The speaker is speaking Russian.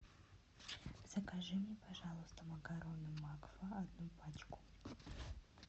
закажи мне пожалуйста макароны макфа одну пачку